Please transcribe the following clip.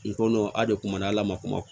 I ko a de kumana ala ma kuma